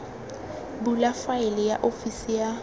bula faele ya ofisi ya